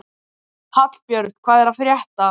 Hallbjörn, hvað er að frétta?